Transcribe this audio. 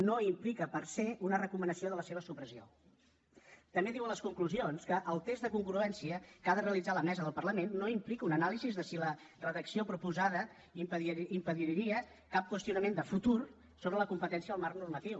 no implica per setambé diu a les conclusions que el test de congruència que ha de realitzar la mesa del parlament no implica una anàlisi de si la redacció proposada impediria cap qüestionament de futur sobre la competència del marc normatiu